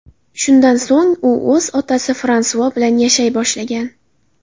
Shundan so‘ng u o‘z otasi Fransua bilan yashay boshlagan.